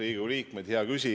Riigikogu liikmed!